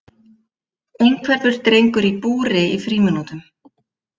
Einhverfur drengur í búri í frímínútum